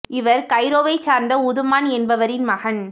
இவர் கைரோவை சார்ந்த உதுமான் என்பவரின் மகன்